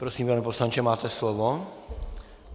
Prosím, pane poslanče, máte slovo.